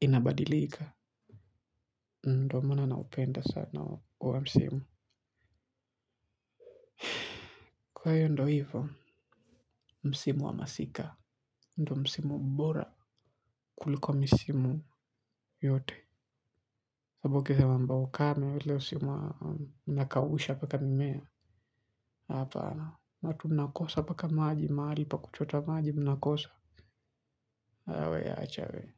inabadilika. Ndo maana naupenda sana huo msimu. Kwa hiyo ndo hivyo, msimu wa masika. Ndio msimu bora kuliko misimu yote sababu ukisema mambo ya ukame ule usi msimu unakausha mpaka mimea. Hapana watu mnakosa mpaka maji mahali pa kuchota maji mnakosa ah we acha we.